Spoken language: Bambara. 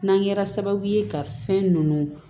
N'an kɛra sababu ye ka fɛn nunnu